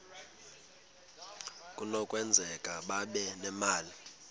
kunokwenzeka babe nemali